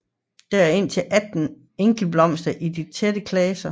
Der er indtil 18 enkeltblomster i de tætte klaser